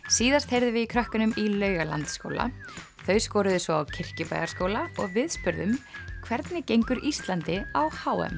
síðast heyrðum við í krökkunum í Laugalandsskóla þau skoruðu svo á Kirkjubæjarskóla og við spurðum hvernig gengur Íslandi á h m